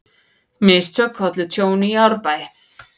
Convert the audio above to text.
Mistök ollu tjóni í Árbæ